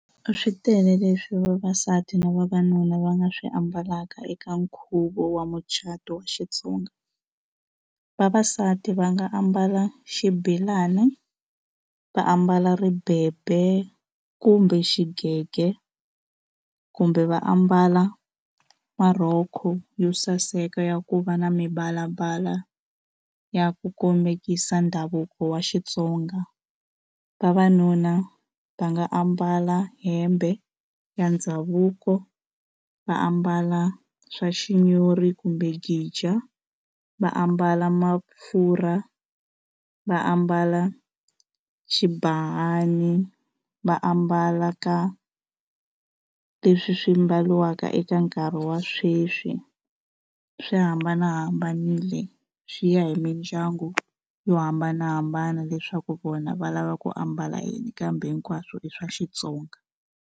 Swi tele leswi vavasati na vavanuna va nga swi ambalaka eka nkhuvo wa mucato wa Xitsonga. Vavasati va nga ambala xibelani, va ambala ribebe kumbe xigege, kumbe va ambala ma rhoko yo saseka ya ku va na mivalavala ya ku kombeta ndhavuko wa Xitsonga. Vavanuna va nga ambala hembe ya ndhavuko, va ambala swaxinyori kumbe gija, va ambala , va ambala xibahani, va ambala ka leswi swi mbariwaka eka nkarhi wa sweswi. Swi hambanahambanile swi ya hi mindyangu yo hambanahambana leswaku vona va lava ku ambala yini kambe hinkwaswo i swa Xitsonga.